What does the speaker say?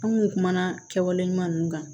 An kun kumana kɛwale ɲuman ninnu kan